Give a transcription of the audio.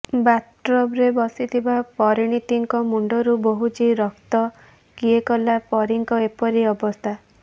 ବାଥଟବ୍ରେ ବସିଥିବା ପରିଣୀତିଙ୍କ ମୁଣ୍ଡରୁ ବୋହୁଛି ରକ୍ତ କିଏ କଲା ପରୀଙ୍କ ଏପରି ଅବସ୍ଥା